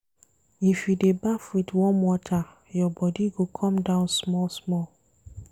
If you dey baff wit warm water, your body go come down small-small.